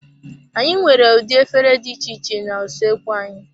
Anyị nwere ụdị efere dị iche iche na usoekwu anyị.